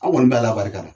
An kɔni b'a ala barika da